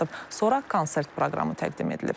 Sonra konsert proqramı təqdim edilib.